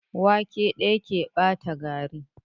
Wake ɗaya ke ɓata gari.